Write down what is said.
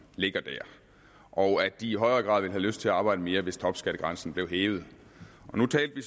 ligger der og at de i højere grad ville have lyst til at arbejde mere hvis topskattegrænsen blev hævet nu talte vi